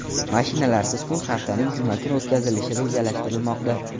Mashinalarsiz kun haftaning juma kuni o‘tkazilishi rejalashtirilmoqda.